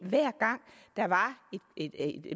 hver gang der var et